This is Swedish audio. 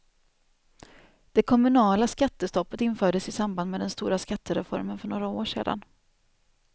Det kommunala skattestoppet infördes i samband med den stora skattereformen för några år sedan.